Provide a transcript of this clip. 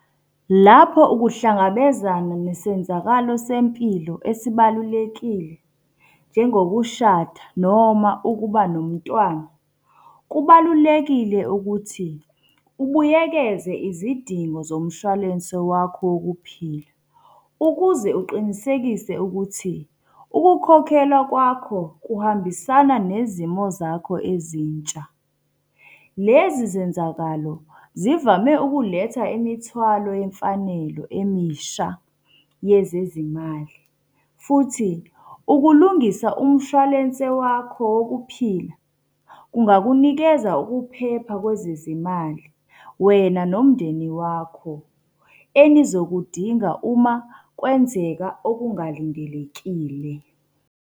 Lapho ukuhlangabezana nesenzakalo sempilo esibalulekile, njengokushada noma ukuba nomntwana. Kubalulekile ukuthi ubuyekeze izidingo zomshwalense wakho wokuphila, ukuze uqinisekise ukuthi ukukhokhelwa kwakho kuhambisana nezimo zakho ezintsha. Lezi zenzalo zivame ukuletha imithwalo yemfanelo emisha yezezimali. Futhi ukulungisa umshwalense wakho wokuphila kungakunikeza ukuphepha kwezezimali wena nomndeni wakho, enizokudinga uma kwenzeka okungalindelekile.